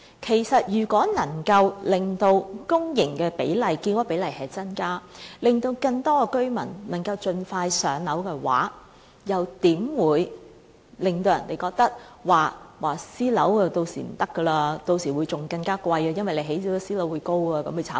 然而，如果能夠增加公營的建屋比例，可以盡快讓更多居民"上樓"的話，又怎會令人認為私人樓宇屆時的情況會更差、租金更貴，因為興建私人樓宇而致樓價將會被人炒高？